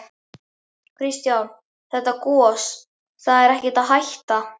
Kristján: Þetta gos, það er ekkert að hætta?